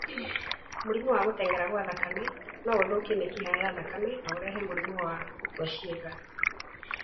Mũrimũ wa gũtenyera gwa thakame no ũthũkie mĩkiha ya thakame na ũrehe mũrimũ wa gũkua ciĩga.